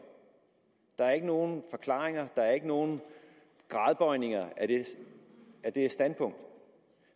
der er ikke nogen forklaringer der er ikke nogen gradbøjninger af af det standpunkt